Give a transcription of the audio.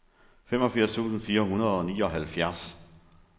femogfirs tusind fire hundrede og nioghalvfjerds